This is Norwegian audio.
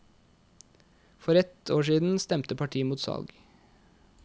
For et år siden stemte partiet mot salg.